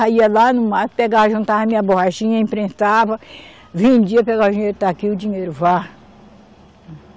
Aí ia lá no mato, pegava, juntava minha borrachinha, imprensava, vendia, pegava o dinheiro, está aqui o dinheiro, vá.